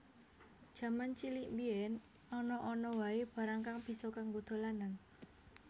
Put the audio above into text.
Jaman cilik mbiyen ana ana wae barang kang bisa kanggo dolanan